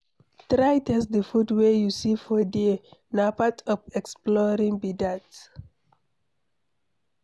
Try taste the food wey you see for there na part of exploring be that